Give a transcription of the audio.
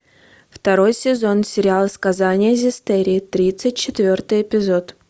второй сезон сериал сказания зестирии тридцать четвертый эпизод